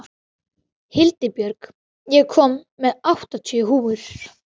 Hildibjörg, ég kom með áttatíu húfur!